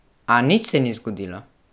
A, nič se ni zgodilo?